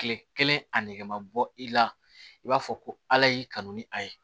Kile kelen a nege ma bɔ i la i b'a fɔ ko ala y'i kanu ni a ye